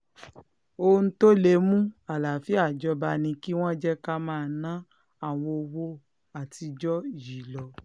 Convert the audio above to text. ohun tó lè mú àlàáfíà jọba ni kí wọ́n jẹ́ ká máa ná àwọn owó àtijọ́ yìí lọ